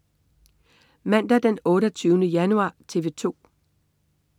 Mandag den 28. januar - TV 2: